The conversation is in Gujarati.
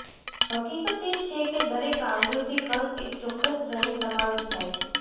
હકીકત એ છે કે દરેક આવૃત્તિ કદ એક ચોક્કસ શ્રેણી સમાવેશ થાય છે